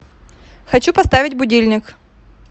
хочу поставить будильник